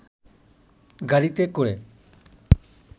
গাড়িতে করে